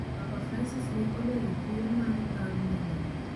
Papa Francis ne olero kuyo mare bang' lwenje go